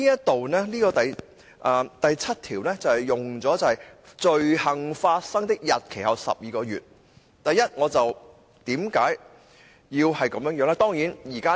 第7條便採用了"罪行發生的日期後12個月"，為何要這樣寫呢？